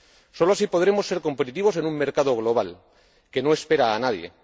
Solo así podremos ser competitivos en un mercado global que no espera a nadie.